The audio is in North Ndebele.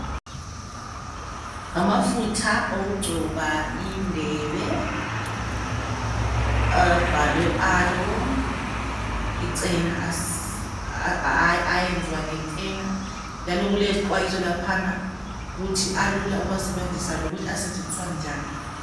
Ngamafutha okugcoba indebe abhalwe aloe icena ayenziwa ngecena njalo kulezixwayiso laphana ukuthi alula ukuwasebenzisa lokuthi asetshenziswa njani.